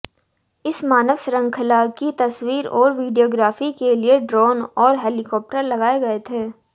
इस मानव श्रृंखला की तस्वीर और वीडियोग्राफी के लिए ड्रोन और हेलीकॉप्टर लगाए गए थे